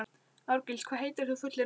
Árgils, hvað heitir þú fullu nafni?